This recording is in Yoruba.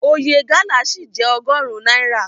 Oye gálà ṣì jẹ́ ọgọrun náírà.